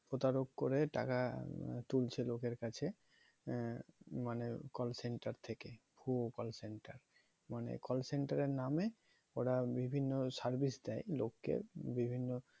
প্রতারক করে টাকা তুলছে লোকের কাছে আহ মানে call center থেকে ভুয়ো call center মানে call center এর নামে ওরা বিভিন্ন service দেয় লোক কে বিভিন্ন